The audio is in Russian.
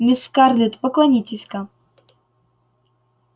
мисс скарлетт поклонитесь-ка